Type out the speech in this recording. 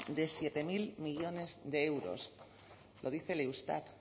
de siete mil millónes de euros lo dice el eustat